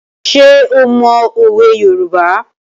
Ṣé o mọ òwe Yorùbá?